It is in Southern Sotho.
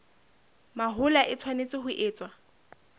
mahola e tshwanetse ho etswa